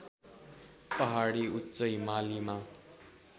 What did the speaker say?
पहाडी उच्च हिमालीमा